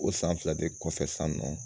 O san fila de kɔfɛ san nɔ